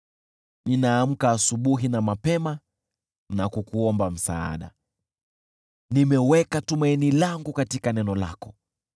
Ninaamka asubuhi na mapema na kukuomba msaada; nimeweka tumaini langu katika neno lako.